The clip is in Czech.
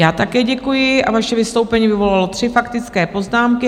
Já také děkuji a vaše vystoupení vyvolalo tři faktické poznámky.